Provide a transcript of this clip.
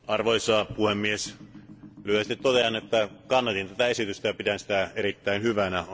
Arvoisa puhemies, lyhyesti totean, että kannatin tätä esitystä ja pidän sitä erittäin hyvänä.